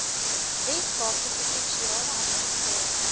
weskaapse provinsiale administrasie